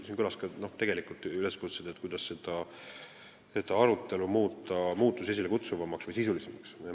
Siin kõlasid tegelikult üleskutsed muuta see arutelu muutusi esilekutsuvamaks või sisulisemaks.